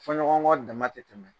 Fɔɲɔgɔnɔnkɔ dama tɛ tɛmɛ.